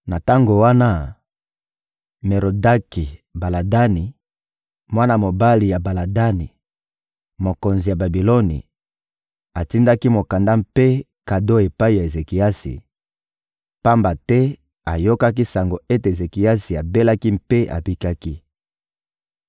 Na tango wana, Merodaki-Baladani, mwana mobali ya Baladani, mokonzi ya Babiloni, atindaki mokanda mpe kado epai ya Ezekiasi, pamba te ayokaki sango ete Ezekiasi abelaki mpe abikaki.